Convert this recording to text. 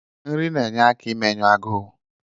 Nri na-enye aka imenyụ agụụ.